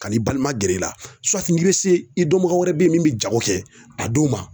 Kan'i balima gɛrɛ i la suwati n'i be se i dɔnbaga wɛrɛ be ye min be jago kɛ a d'o ma